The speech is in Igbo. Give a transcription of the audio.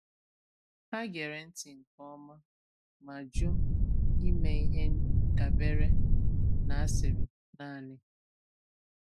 Hà gere ntị nke ọma, ma jù ime ihe dàbèrè nà asịrị nànị.